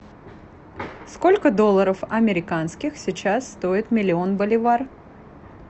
сколько долларов американских сейчас стоит миллион боливар